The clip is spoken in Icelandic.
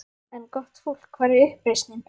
En gott fólk: Hvar er uppreisnin?